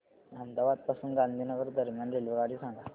अहमदाबाद पासून गांधीनगर दरम्यान रेल्वेगाडी सांगा